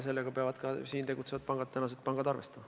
Sellega peavad täna siin tegutsevad pangad arvestama.